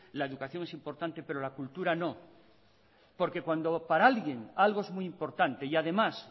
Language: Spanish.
la educación es importante pero la cultura no porque cuando para alguien algo es muy importante y además